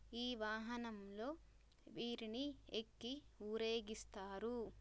ఈ వాహనం లో వీరిని ఎక్కి ఊరేగిస్తారు.